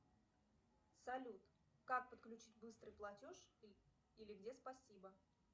салют как подключить быстрый платеж или где спасибо